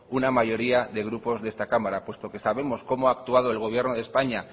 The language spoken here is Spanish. una mayoría de grupos de esta cámara puesto que sabemos como ha actuado el gobierno de españa